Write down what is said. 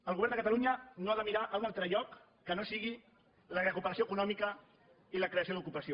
el govern de catalunya no ha de mirar a un altre lloc que no sigui la recuperació econòmica i la creació d’ocupació